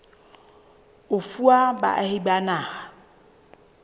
e fuwa baahi ba naha